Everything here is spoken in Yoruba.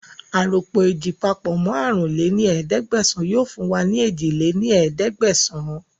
Aròpọ̀ ééjì papọ̀ mọ àrún lé ní ẹ̀ẹ́dẹ́gbẹ́sán yìí fún wa ní èje lé ní ẹ̀ẹ́dẹ́gbẹ́sán